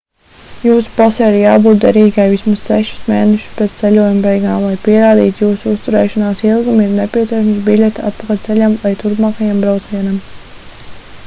jūsu pasei ir jābūt derīgai vismaz sešus mēnešus pēc ceļojuma beigām lai pierādītu jūsu uzturēšanās ilgumu ir nepieciešama biļete atpakaļceļam vai turpmākajam braucienam